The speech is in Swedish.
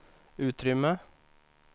utrymme